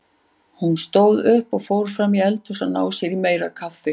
Hún stóð upp og fór fram í eldhús að ná sér í meira kaffi.